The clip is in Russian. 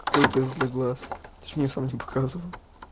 какой тест для глаз ты ж мне сам не показывал